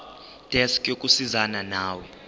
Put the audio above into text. desk yokusizana nawe